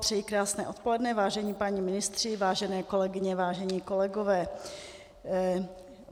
Přeji krásné odpoledne, vážení páni ministři, vážené kolegyně, vážení kolegové.